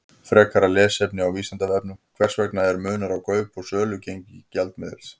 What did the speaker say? Frekara lesefni á Vísindavefnum: Hvers vegna er munur á kaup- og sölugengi gjaldmiðla?